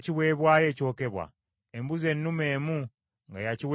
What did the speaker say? embuzi ennume emu nga ya kiweebwayo olw’ekibi;